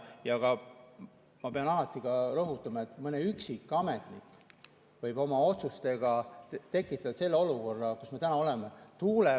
Samas ma pean ka rõhutama, et mõni üksik ametnik võib olla oma otsustega tekitatud selle olukorra, kus me täna oleme.